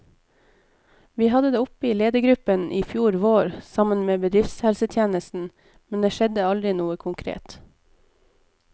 Vi hadde det oppe i ledergruppen i fjor vår, sammen med bedriftshelsetjenesten, men det skjedde aldri noe konkret.